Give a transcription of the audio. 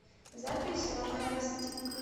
запись ромеро стик